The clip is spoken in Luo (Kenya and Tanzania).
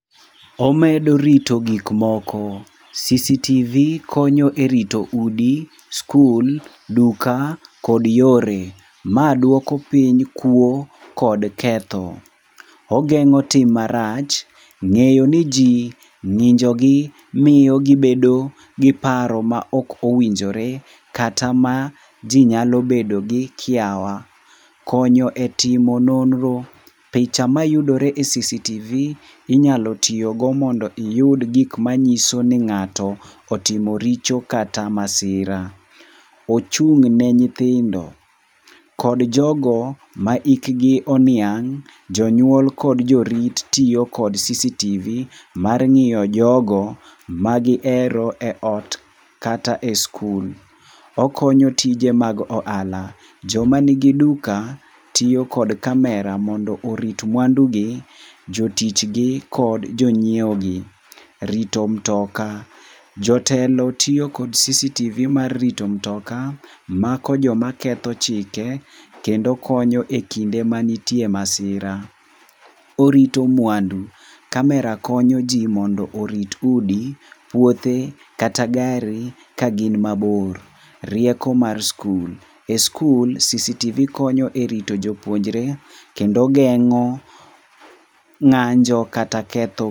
Omedo rito gik moko. CCTV konyo erito udi, skul, duka kod yore. Ma duoko piny kuo kod ketho. Ogeng'o tim marach, ng'eyo ni ji, ng'injogi miyo gibedo gi paro ma ok owinjore kata maji nyalo bedo gi kiawa. Konyo etimo nonro. picha mayudore e CCTV inyalo tiyogo mondo iyud gik manyiso ni ng'ato otimo richo kata masira. Ochung' ne nyithindo kod jogo ma hikgi oniang' jonyuol kod jorit tiyo kod C CTV mar ng'iyo jogo magihero eot, kata e skul. Okonyo tije mag ohala. Joma nigi duka tiyo kod kamera mondo orit mwandugi, jo tichgi kod jonyiewogi. Rito mutoka. Jotelo tiyo kod CCTV mar rito mutoka, mako joma ketho chike kendo konyo e kinde manitie masira. Orito mwandu. Kamera konyo ji mondo orit udi, puothe kata gari kagin mabor. Rieko mar skul. E sikul CCTV konyo e rito jopuonjre kendo geng'o ng'anjo kata ketho